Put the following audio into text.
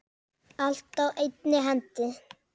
Allt á einni hendi.